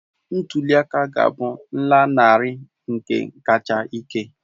Ntuli aka a ga-abụ nlanarị nke kacha ike